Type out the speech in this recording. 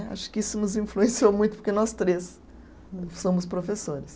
Acho que isso nos influenciou muito, porque nós três somos professores.